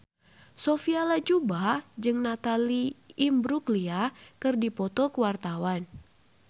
Sophia Latjuba jeung Natalie Imbruglia keur dipoto ku wartawan